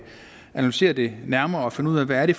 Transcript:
analysere det nærmere og finde ud af hvad det